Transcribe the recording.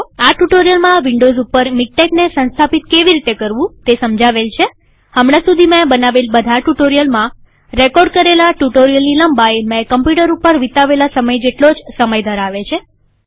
આ ટ્યુ્ટોરીઅલમાં વિન્ડોવ્સ ઉપર મીક્ટેકને સંસ્થાપિત કેવી રીતે કરવું તે સમજાવેલ છેહમણાં સુધી મેં બનાવેલ બધા ટ્યુ્ટોરીઅલમાં રેકોર્ડ કરેલા ટ્યુ્ટોરીઅલની લંબાઈ મેં કમ્પ્યુટર ઉપર વિતાવેલા સમય જેટલો જ સમય ધરાવે છે